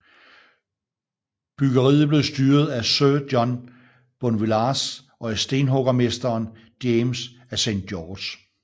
Byggeriet blev styret af sir John Bonvillars og af stenhuggermesteren James af Saint George